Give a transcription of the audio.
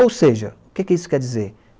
Ou seja, o que que isso quer dizer?